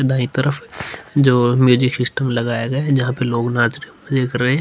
दायीं तरफ जो म्यूजिक सिस्टम लगाया गया है जहाँ पर लोग नाच रहे हैं मजे कर रहे हैं।